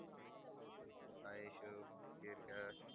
hi Aishu எப்படி இருக்க?